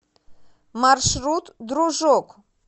маршрут дружок